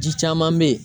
Ji caman be ye